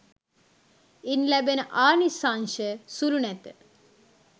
ඉන් ලැබෙන ආනිසංශ සුළු නැත.